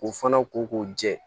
K'u fana ko k'u jɛ